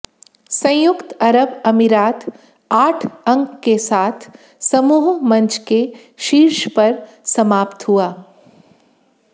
संयुक्त अरब अमीरात आठ अंक के साथ समूह मंच के शीर्ष पर समाप्त हुआ